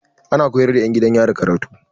Ana koyar da 'yan gidan yari karatu.